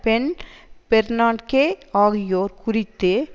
pen Bernanke ஆகியோர் குறித்து